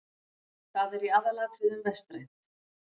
Það er í aðalatriðum vestrænt.